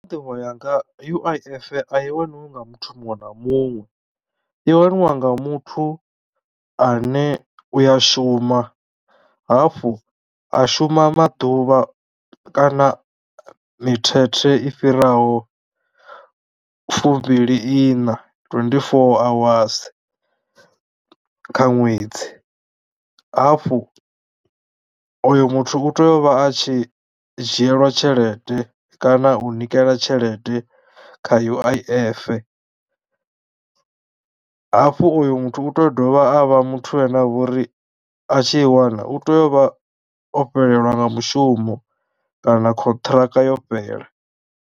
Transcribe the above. U ya nga nḓivho yanga U_I_F a i waniwa nga muthu muṅwe na muṅwe i waniwa nga muthu ane u ya shuma, hafhu a shuma maḓuvha kana mithethe i fhiraho fumbili iṋa twenty-four hours kha ṅwedzi, hafhu oyo muthu u tea u vha a tshi dzhielwa tshelede kana u nikela tshelede kha U_I_F. Hafhu oyo muthu u tea u dovha a vha muthu ane a vha uri a tshi i wana u teyo u vha o fhelelwa nga mushumo kana khonṱhiraka yo fhela.